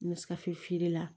N bɛ kafin feere la